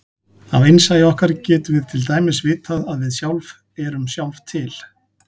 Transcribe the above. Af innsæi okkar getum við til dæmis vitað að við sjálf erum sjálf til.